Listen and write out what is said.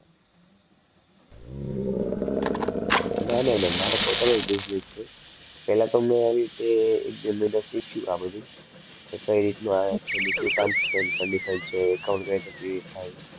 ના ના ના મારો પોતાનો જ business છે. પહેલા તો મેં આવી રીતે એક બે મહિના શીખ્યું આ બધું કે કઈ રીતનું આ છે ને શું terms and condition છે account કઈ રીતે create થાય